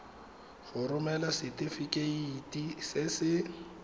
go romela setefikeiti se se